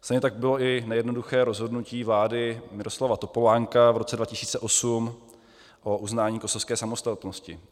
Stejně tak bylo i nejednoduché rozhodnutí vlády Miroslava Topolánka v roce 2008 o uznání kosovské samostatnosti.